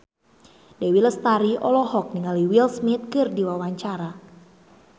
Dewi Lestari olohok ningali Will Smith keur diwawancara